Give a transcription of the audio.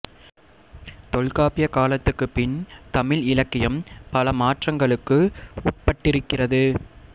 தொல்காப்பியக் காலத்துக்குப் பின் தமிழ் இலக்கியம் பல மாற்றங்களுக்கு உட்பட்டிருக்கிறது